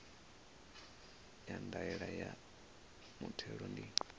ya ndaela ya muthelo ndi